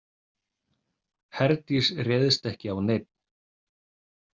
Herdís réðst ekki á neinn.